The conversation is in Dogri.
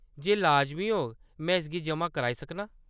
जे लाजमी होग, में इसगी जमा कराई सकनां।